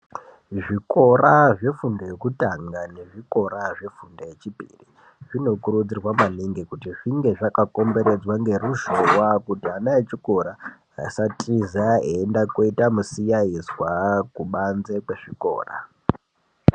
Zvikora zvefundo yekutanga nezvikora zvefundo yechipiri zvinokurudzirwa maningi kuti zvinge zvakakomberedzwa ngeruzhova kuti vana vechikora vasatiza veiyenda koita misikaizwa kubanze kwezvikora.